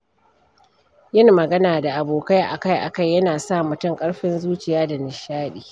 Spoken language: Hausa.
Yin magana da abokai akai-akai yana sa mutum ƙarfin zuciya da nishaɗi.